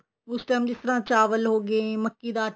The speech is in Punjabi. ਉਸ time ਜਿਸ ਤਰ੍ਹਾਂ ਚਾਵਲ ਹੋਗੇ ਮੱਕੀ ਦਾ ਆਟਾ